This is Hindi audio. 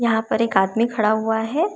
यहां पर एक आदमी खड़ा हुआ है।